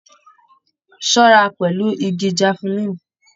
Ṣọra pẹlú ìgi jafulin!